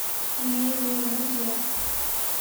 мелеузе